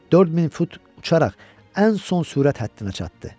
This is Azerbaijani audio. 4000 fut uçaraq ən son sürət həddinə çatdı.